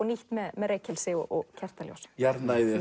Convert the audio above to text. nýtt með reykelsi og kertaljós jarðnæði